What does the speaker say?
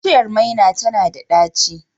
Bishiyar maina tana da ɗaci